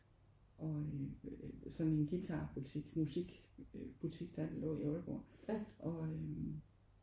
Og øh sådan en guitar butik musik øh butik der lå der i Aalborg og øh